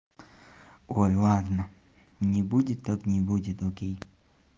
ой ладно не будет так не будет окей